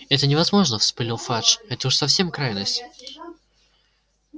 это невозможно вспылил фадж это уж совсем крайность